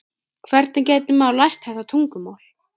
Hvernig gæti maður lært þetta tungumál?